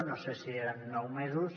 no sé si eren nou mesos